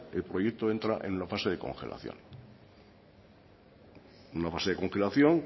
el proyecto entra en la fase de congelación en una fase de congelación